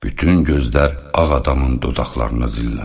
Bütün gözlər ağ adamın dodaqlarına zilləndi.